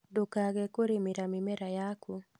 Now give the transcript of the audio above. Ndukage kũrĩmĩra mĩmera yaku